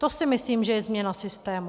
To si myslím, že je změna systému.